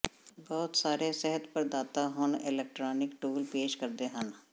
ਬਹੁਤ ਸਾਰੇ ਸਿਹਤ ਪ੍ਰਦਾਤਾ ਹੁਣ ਇਲੈਕਟ੍ਰਾਨਿਕ ਟੂਲ ਪੇਸ਼ ਕਰਦੇ ਹਨ